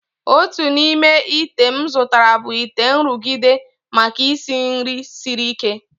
Otu n'ime ite m zụtara bụ ite nrụgide, maka isi nri siri ike.